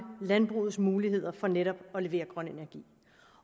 landbrugets muligheder for netop at levere grøn energi